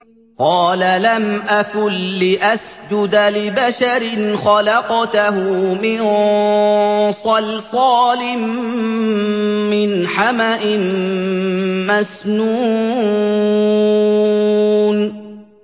قَالَ لَمْ أَكُن لِّأَسْجُدَ لِبَشَرٍ خَلَقْتَهُ مِن صَلْصَالٍ مِّنْ حَمَإٍ مَّسْنُونٍ